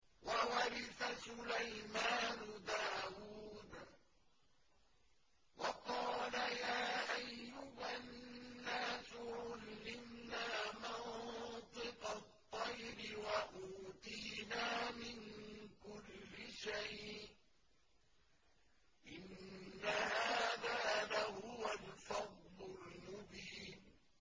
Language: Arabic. وَوَرِثَ سُلَيْمَانُ دَاوُودَ ۖ وَقَالَ يَا أَيُّهَا النَّاسُ عُلِّمْنَا مَنطِقَ الطَّيْرِ وَأُوتِينَا مِن كُلِّ شَيْءٍ ۖ إِنَّ هَٰذَا لَهُوَ الْفَضْلُ الْمُبِينُ